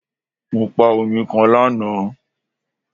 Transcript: Mo pa oyin kan lana